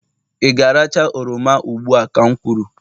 ị ga-aracha oroma ugbu a ka m kwuru!